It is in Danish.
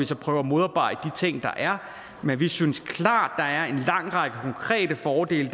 så prøve at modarbejde de ting der er men vi synes klart at der er en lang række konkrete fordele